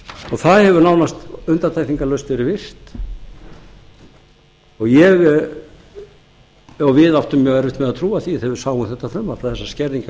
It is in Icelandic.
það hefur nánast undantekningarlaust verið virt mjög áttum mjög erfitt með að trúa því þegar við sáum þetta frumvarp að þessar skerðingar